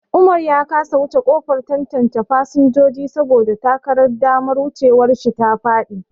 Umar ya kasa wuce kofar tantance fasinjoji saboda takardar damar wucewar shi ta faɗi.